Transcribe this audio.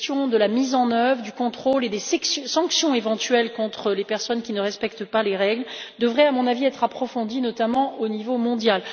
Les questions de la mise en œuvre, du contrôle et des sanctions éventuelles contre les personnes qui ne respectent pas les règles devraient, à mon sens, être approfondies, notamment au niveau mondial.